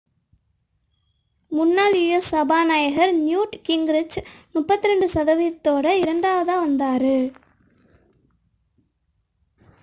முன்னாள் u.s. சபாநாயகர் Newt Gingrich 32 சதவிகிதத்துடன் இரண்டாவதாக வந்தார்